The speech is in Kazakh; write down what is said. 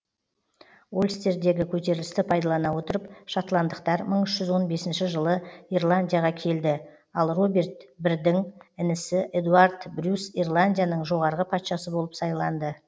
ольстердегі көтерілісті пайдалана отырып шотландықтар мың үш жүз он бесінші жылы ирландияға келді ал роберт бірдің інісі эдуард брюс ирландияның жоғарғы патшасы болып сайланды